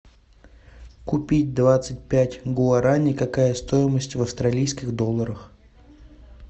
купить двадцать пять гуарани какая стоимость в австралийских долларах